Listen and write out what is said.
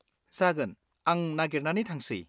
जागोन, आं नागेरनानै थांसै।